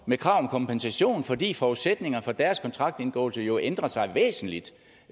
med krav om kompensation fordi forudsætningerne for deres kontraktindgåelse jo ændrer sig væsentligt